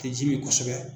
Tɛ ji min kosɛbɛ